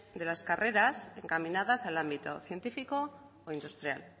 de las carreras encaminadas al ámbito científico o industrial